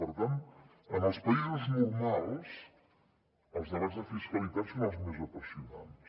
per tant en els països normals els debats de fiscalitat són els més apassionants